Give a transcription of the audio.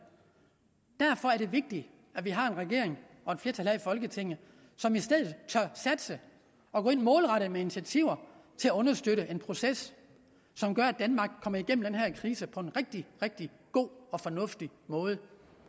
derfor er det vigtigt at vi har en regering og et flertal her i folketinget som i stedet tør satse og gå ind målrettet med initiativer til at understøtte en proces som gør at danmark kommer igennem den her krise på en rigtig rigtig god og fornuftig måde